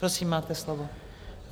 Prosím, máte slovo.